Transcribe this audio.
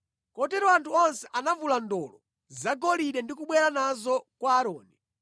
Kotero anthu onse anavula ndolo zagolide ndi kubwera nazo kwa Aaroni.